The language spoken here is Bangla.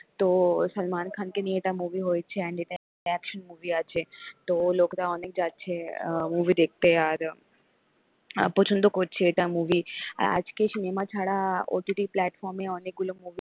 তো সালমান খানকে নিয়ে এটা movie হয়েছে and এটা action movie আছে তো লোকরা অনেক যাচ্ছে movie দেখতে আর আহ পছন্দ করছে এটা movie আজকে cinema ছাড়া OTT প্লাটফর্মে অনেকগুলো movie